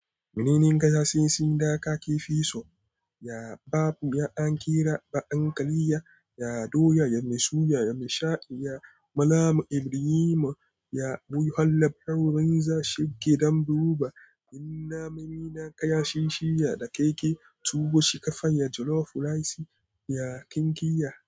Munenin gazalsin sun daka ke fi so, ya babu ya an kira ba an kariya, ya doya ya mai suya ya mai sha'i, ya Malam Ibrahim ya buyu har labarun za shige don duba. In na mimi na kayan shi shi ya dakeke, tuwo shika fan ya jollof rice ya ƙingiya.